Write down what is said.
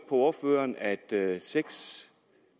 ordføreren at seks